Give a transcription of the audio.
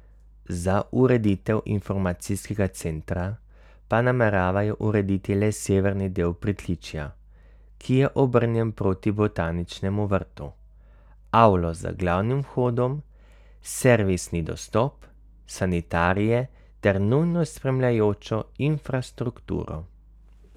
Za ureditev informacijskega centra pa nameravajo urediti le severni del pritličja, ki je obrnjen proti botaničnemu vrtu, avlo z glavnim vhodom, servisni dostop, sanitarije ter nujno spremljajočo infrastrukturo.